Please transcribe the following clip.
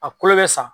A kolo bɛ sa